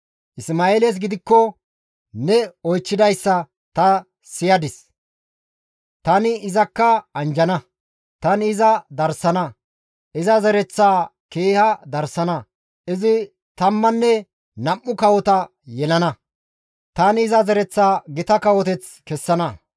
Isma7eeles gidikko ne oychchidayssa ta siyadis; tani izakka anjjana; tani iza darsana; iza zereththaa keeha darsana; izi tammanne nam7u kawota yelana; tani iza zereththaa gita kawoteth kessana.